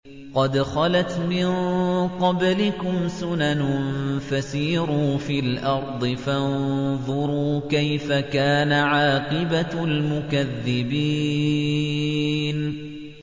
قَدْ خَلَتْ مِن قَبْلِكُمْ سُنَنٌ فَسِيرُوا فِي الْأَرْضِ فَانظُرُوا كَيْفَ كَانَ عَاقِبَةُ الْمُكَذِّبِينَ